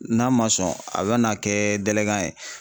N'a ma sɔn a bɛ n'a kɛ ye.